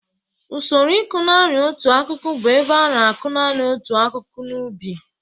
Usoro ịkọ nanị otu akụkụ bụ ebe a na-akụ nanị otu ụdị akụkụ n'ubi.